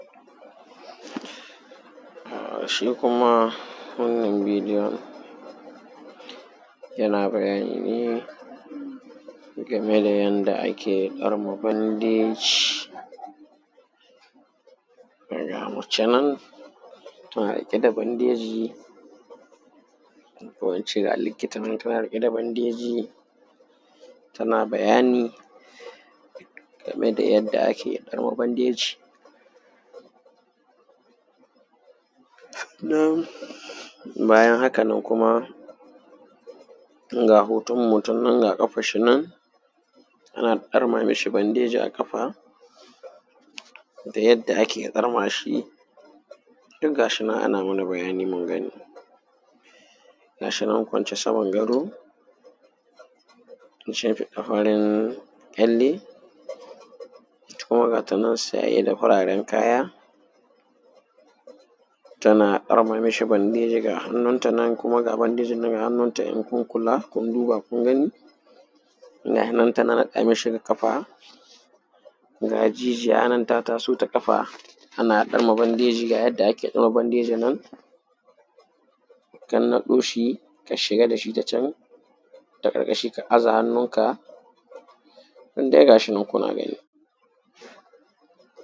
shi kuma wannan bidiyon yana bayani ne game da yanda ake ɗarma bandeji ga mace nan tana riƙe da bandeji ko in ce ga likita nan ta riƙe da bandeji tana bayani game da yanda ake ɗarma bandeji bayan haka nan kuma ga hoton mutum nan ga ƙafar shi nan ana ɗarma ma shi bandeji a ƙafa da yadda ake ɗarma shi duk ga shi nan ana mana bayani mun gani ga shi nan kwance saman gado an shafe farin ƙyalle ita kuma ga ta nan saye da fararan kaya tana ɗarma ma shi bandeji ga hannunta nan kuma ga bandejin nan kuma ga hannunta in kun kula kun duba kun gani ga yi nan ta haɗa ma shi ga ƙafa ga jijiya nan ta taso ta ƙafa ana ɗame bandeji ga yanda ake ɗame bandeji nan ta naɗo shi ta shiga da shi ta can ta ƙarƙashi ka aza hannunka nan dai ga shi nan kuna gani.